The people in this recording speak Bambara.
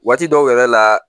Waati dɔw yɛrɛ la